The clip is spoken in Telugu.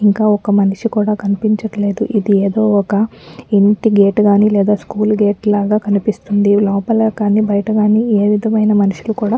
ఇంకా ఒక్క మనిషి కూడా కనిపించట్లేదు. ఇది ఏదో ఒక ఇంటి గేట్ కాని లేదా స్కూల్ గేట్ లాగా కనిపిస్తుంది. లోపల కానీ బయట కానీ ఏవిధమైన మనుషులు కూడా --